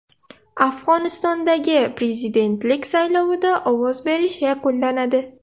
Afg‘onistondagi prezidentlik saylovida ovoz berish yakunlanadi.